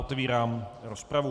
Otvírám rozpravu.